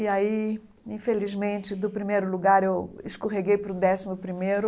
E aí, infelizmente, do primeiro lugar eu escorreguei para o décimo primeiro.